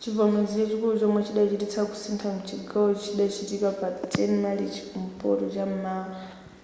chivomerezi chachikulu chomwe chachititsa kusintha mchigawo chidachitika pa 10 marichi kumpoto cham'mawa